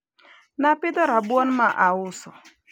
napidho rabuon mauso